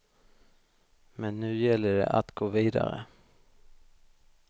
Men nu gäller det att gå vidare.